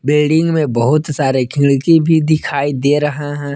Building में बहुत सारे खिड़की भी दिखाई दे रहे हैं।